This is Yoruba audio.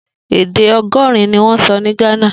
Èdè ọgọrin niwọn sọ ni Ghana